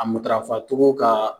A matarafacogo ka